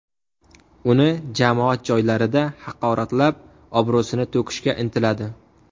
Uni jamoat joylarida haqoratlab, obro‘sini to‘kishga intiladi.